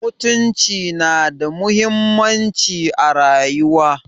Mutunci nada muhimmanci a rayuwar.